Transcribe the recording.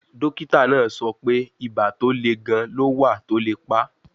Dókítà náà sọ pé ibà tó le gan-an ló wà tó lè pa